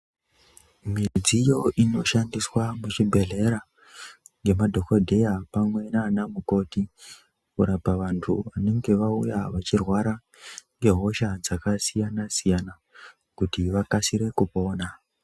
Midziyo inoshandiswa muzvibhedhlera ngemadhogodheya pamwe nana mukoti. Kurapa vantu vanonga vauya vachirwara ngehosha dzakasiyana-siyana kuti vakasire kupona.